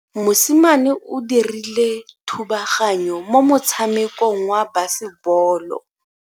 Mosimane o dirile thubaganyo mo motshamekong wa basebolo.